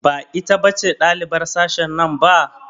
Ba ita ce ɗalibar sashen nan ba?